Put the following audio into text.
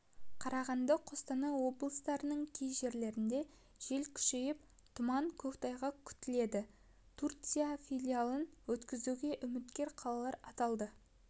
қарағанды қостанай облыстарының кей жерлерінде жел күшейіп тұман көктайғақ күтіледі түркияда финалын өткізуге үміткер қалалар аталды